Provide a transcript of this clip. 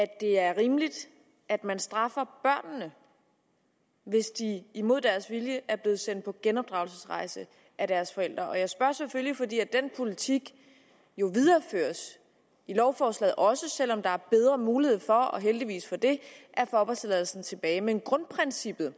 at det er rimeligt at man straffer børnene hvis de imod deres vilje er blevet sendt på genopdragelsesrejse af deres forældre jeg spørger selvfølgelig fordi den politik jo videreføres i lovforslaget også selv om der er bedre mulighed for og heldigvis for det at få opholdstilladelsen tilbage men grundprincippet